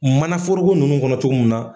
Mana foroko ninnu kɔnɔ cogo mun na.